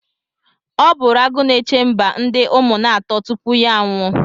Ọ bụụrụ Agụnechemba ndị Ụmụnatọ tupu ya anwụọ.